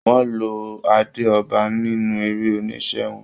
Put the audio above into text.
Wọ́n lo adé ọba nínú eré-oníṣe wọn.